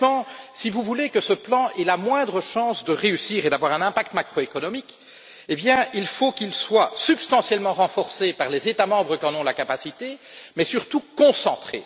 Concrètement, si vous voulez que ce plan ait la moindre chance de réussir et d'avoir un impact macroéconomique, il faut qu'il soit substantiellement renforcé par les États membres qui en ont la capacité, mais surtout concentré.